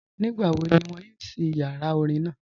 Nígbàwó̀ ní wọn yóò ṣí ìyàrá orín naa?